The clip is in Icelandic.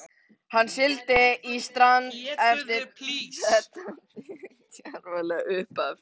Hann sigldi í strand eftir þetta djarflega upphaf.